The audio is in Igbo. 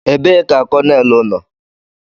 Ebee ka konelu nọ?